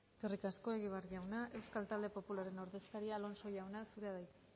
eskerrik asko egibar jauna euskal talde popularraren ordezkaria alonso jauna zurea da hitza